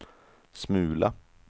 smula